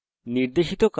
নির্দেশিত কাজ হিসাবে